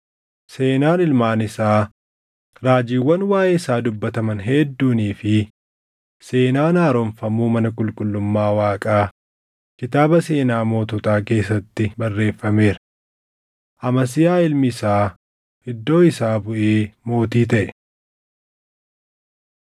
Seenaan ilmaan isaa, raajiiwwan waaʼee isaa dubbataman hedduunii fi seenaan haaromfamuu mana qulqullummaa Waaqaa kitaaba seenaa moototaa keessatti barreeffameera. Amasiyaa ilmi isaa iddoo isaa buʼee mootii taʼe.